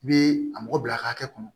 I bɛ a mɔgɔ bila a hakɛ kɔnɔ